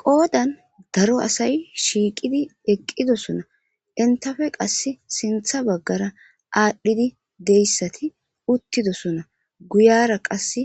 Qodan daro asay shiiqidi eqidosona entape qasi sintha bagara adhidi deysati utidosona guyara qase